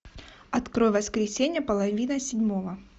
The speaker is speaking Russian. открой воскресенье половина седьмого